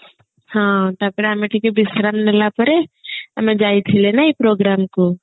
ହଁ ତାପରେ ଆମେ ଟିକେ ବିଶ୍ରାମ ନେଲା ପରେ ଆମେ ଯାଇଥିଲେ ନାଇଁ programme କୁ